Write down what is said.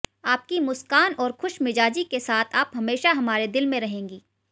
आपकी मुस्कान और खुशमिजाजी के साथ आप हमेशा हमारे दिल में रहेंगी